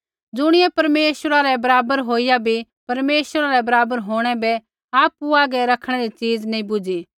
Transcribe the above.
ज़ुणियै परमेश्वरा रै बराबर होईया भी परमेश्वरा रै बराबर होंणै बै आपु हागै रखणै री चीज नैंई बुझी